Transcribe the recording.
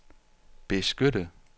beskytte